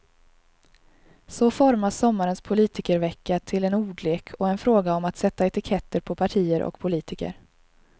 Så formas sommarens politikervecka till en ordlek och en fråga om att sätta etiketter på partier och politiker.